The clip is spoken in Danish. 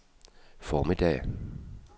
formiddag